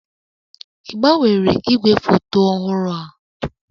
Ị gbanwere igwefoto ọhụrụ a?